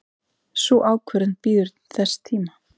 Sú ákvörðun bíður þess tíma.